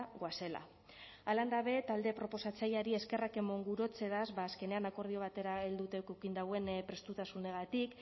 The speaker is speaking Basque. goazela halan da be talde proposatzaileari eskerrak emon gurotzedaz azkenean akordio batera helduta eduki dauen prestutasunagatik